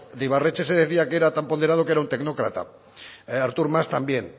de ibarretxe se decía que era tan ponderado que era un tecnócrata artur mas también